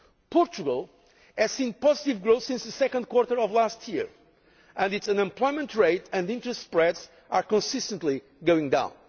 Portugal has seen positive growth since the second quarter of last year, and its unemployment rate and interest spreads are consistently going down.